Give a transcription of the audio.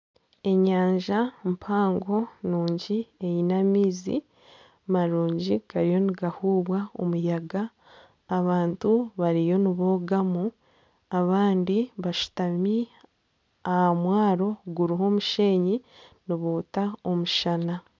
Enyanja mpango nungi eine amaizi marungi gariyo nigahuubwa omuyaga abantu bariyo nibogamu abandi bashutami aha mwaro guriho omushenyi niboota omushana.